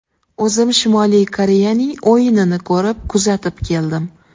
O‘zim Shimoliy Koreyaning o‘yinini ko‘rib, kuzatib keldim.